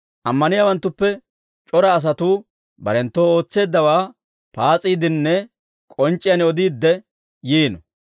Ammaniyaawanttuppe c'ora asatuu barenttu ootseeddawaa paas'iiddinne k'onc'c'iyaan odiidde yiino.